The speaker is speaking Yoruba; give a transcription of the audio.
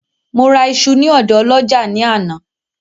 Mo ra iṣu ní ọ̀dọ ọlọ́jà ní àná